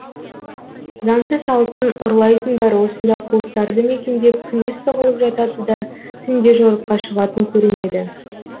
заңсыз алтын ұрлайтындар осында қуыстарды мекендеп күндіз тығылып жатады да түнде жорыққа шығатын көрінеді